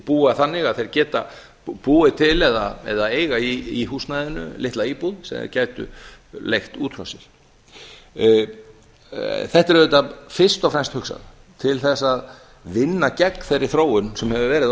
búa þannig að þeir geta búið til eða eiga í húsnæðinu litla íbúð sem þeir gætu leigt út frá sér þetta er auðvitað fyrst og fremst hugsað til þess að vinna gegn þeirri þróun sem hefur verið á